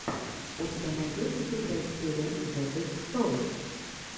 у тебя найдется первая серия зэтойстор